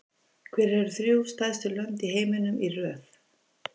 Hver eru þrjú stærstu lönd í heiminum í röð?